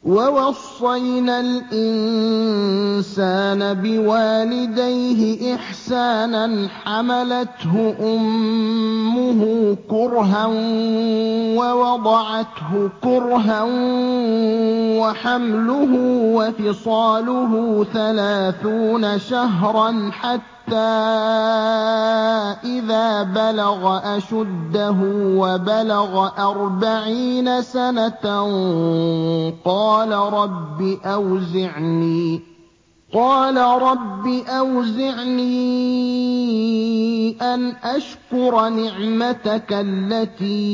وَوَصَّيْنَا الْإِنسَانَ بِوَالِدَيْهِ إِحْسَانًا ۖ حَمَلَتْهُ أُمُّهُ كُرْهًا وَوَضَعَتْهُ كُرْهًا ۖ وَحَمْلُهُ وَفِصَالُهُ ثَلَاثُونَ شَهْرًا ۚ حَتَّىٰ إِذَا بَلَغَ أَشُدَّهُ وَبَلَغَ أَرْبَعِينَ سَنَةً قَالَ رَبِّ أَوْزِعْنِي أَنْ أَشْكُرَ نِعْمَتَكَ الَّتِي